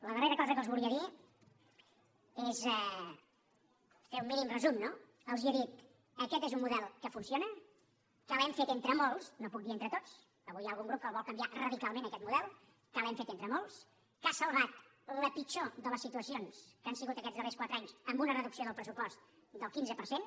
la darrera cosa que els volia dir és fer un mínim resum no els he dit aquest és un model que funciona que l’hem fet entre molts no puc dir entre tots avui hi ha algun grup que el vol canviar radicalment aquest model que l’hem fet entre molts que ha salvat la pitjor de les situacions que han sigut aquests darrers quatre anys amb una reducció del pressupost del quinze per cent